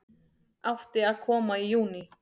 Átti að koma í júní